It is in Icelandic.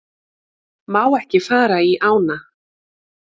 Má ekki fara í ána